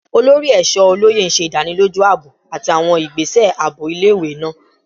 Olori Eesho Oloye ṣe idaniloju aabo ati awọn igbese aabo ile-iwe naa